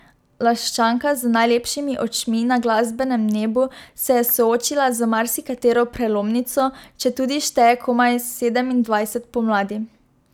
Laščanka z najlepšimi očmi na glasbenem nebu se je soočila z marsikatero prelomnico, četudi šteje komaj sedemindvajset pomladi.